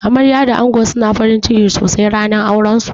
Amarya da ango suna farinciki sosai ranar auran su.